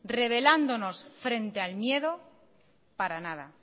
revelándonos frente al miedo para nada